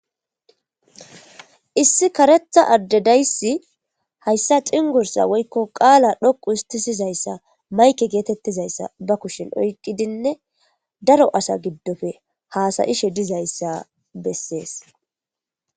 Issi kareththa adde dayssi cinggurssa woyko qaala dhoqqu histtisizayssa mayke oykidinnee daro asa giddon haasa7ishe dizayssa dizayssa besses.